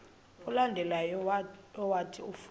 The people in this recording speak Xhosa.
olandelayo owathi ufuna